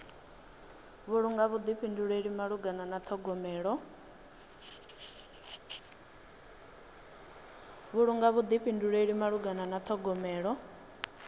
vhulunga vhuḓifhinduleli malugana na ṱhogomelo